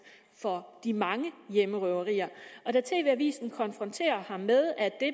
for de mange hjemmerøverier da tv avisen konfronterer ham med at